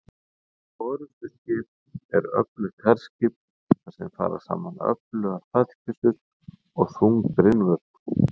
orrustuskip er öflugt herskip þar sem fara saman öflugar fallbyssur og þung brynvörn